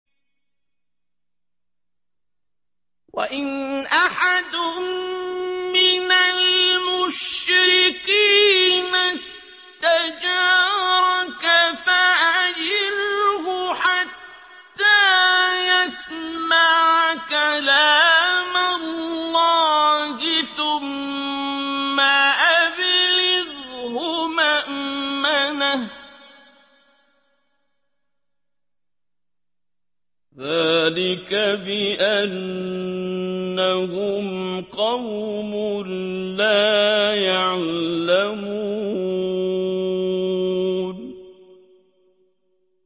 وَإِنْ أَحَدٌ مِّنَ الْمُشْرِكِينَ اسْتَجَارَكَ فَأَجِرْهُ حَتَّىٰ يَسْمَعَ كَلَامَ اللَّهِ ثُمَّ أَبْلِغْهُ مَأْمَنَهُ ۚ ذَٰلِكَ بِأَنَّهُمْ قَوْمٌ لَّا يَعْلَمُونَ